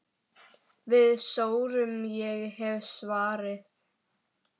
Við sórum, ég hef svarið.